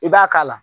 I b'a k'a la